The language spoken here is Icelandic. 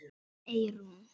Þín Eyrún.